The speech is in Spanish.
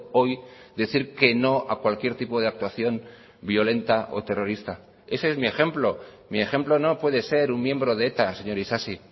hoy decir que no a cualquier tipo de actuación violenta o terrorista ese es mi ejemplo mi ejemplo no puede ser un miembro de eta señor isasi